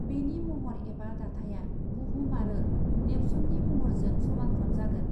बेनि महर एबा दाथाया बुहुम आरो नेप्सुननि महरजों समानफ्राम जागोन।